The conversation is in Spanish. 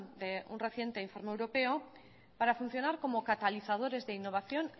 de un reciente informe europeo para funcionar como catalizadores de innovación